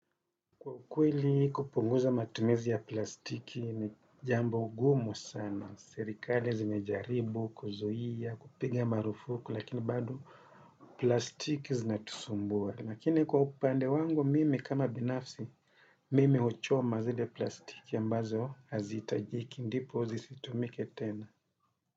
Kwa ukweli kupunguza matumizi ya plastiki ni jambo gumu sana, serikali zimejaribu, kuzuia, kupiga marufuku, lakini bado plastiki zinatusumbua, lakini kwa upande wangu mimi kama binafsi, mimi huchoa mazile plastiki ambazo hazihitajiki, ndipo zisitumike tena.